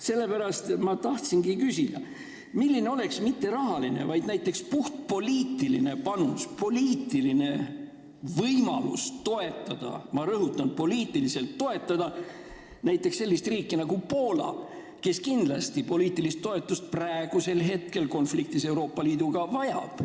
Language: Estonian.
Sellepärast ma küsingi: milline oleks mitte rahaline, vaid puhtpoliitiline võimalus toetada näiteks sellist riiki nagu Poola, kes poliitilist toetust praegusel hetkel konfliktis Euroopa Liiduga hädasti vajab?